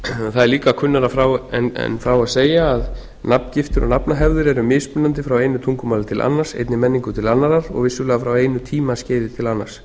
það er líka kunnara en frá þurfi að segja að nafngiftir og nafnahefðir eru mismunandi frá einu tungumáli til annars einni menningu til annarrar og vissulega frá einu tímaskeiði til annars